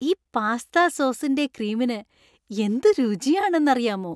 ഈ പാസ്ത സോസിന്‍റെ ക്രീമിന് എന്ത് രുചി ആണെന്നറിയാമോ .